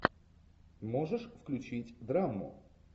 можешь включить драму